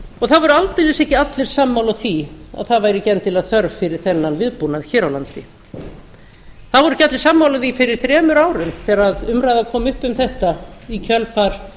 og það voru aldeilis ekki allir sammála því að það væri ekki endilega þörf fyrir þennan viðbúnað hér á landi það voru ekki allir sammála því fyrir þremur árum þegar umræða kom upp um þetta í kjölfar